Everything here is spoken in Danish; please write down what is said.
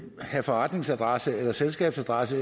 have forretningsadresse eller selskabsadresse